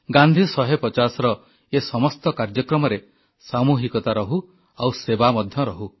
ଗାନ୍ଧୀ 150ର ଏ ସମସ୍ତ କାର୍ଯ୍ୟକ୍ରମରେ ସାମୁହିକତା ରହୁ ଆଉ ସେବା ମଧ୍ୟ ରହୁ